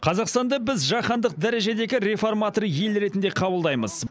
қазақстанды біз жаһандық дәрежедегі реформатор ел ретінде қабылдаймыз